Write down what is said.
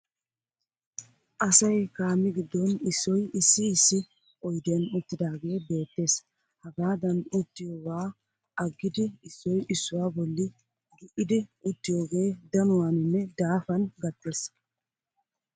Asay kaamee giddon issoy issi issi oydiyan uttidaagee beettes. Hagaadan uttiyoogaa aggidi issoy issuwaa bolli gi'idi uttiyoogee danuwaaninne daafan gattees.